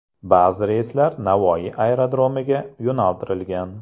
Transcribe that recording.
Ba’zi reyslar Navoiy aerodromiga yo‘naltirilgan.